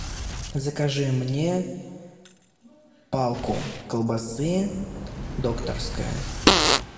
закажи мне палку колбасы докторская